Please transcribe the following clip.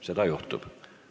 Seda juhtub.